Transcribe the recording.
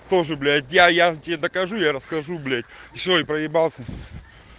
тоже блять я я тебе докажу я расскажу блять все и проебался